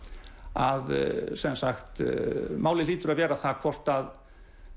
að málið hlýtur að vera það hvort að